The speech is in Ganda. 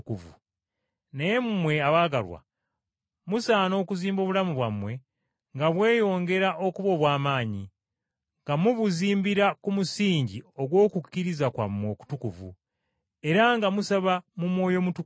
Naye mmwe, abaagalwa, musaana okuzimba obulamu bwammwe nga bweyongera okuba obw’amaanyi, nga mubuzimbira ku musingi ogw’okukkiriza kwammwe okutukuvu, era nga musaba mu Mwoyo Mutukuvu,